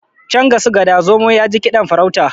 can ga su gada zomo ya ji kiɗan farauta